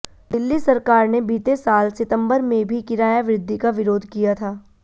दिल्ली सरकार ने बीते साल सितंबर में भी किराया वृद्धि का विरोध किया था